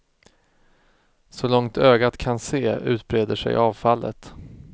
Så långt ögat kan se utbreder sig avfallet.